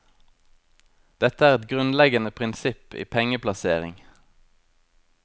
Dette er et grunnleggende prinsipp i pengeplassering.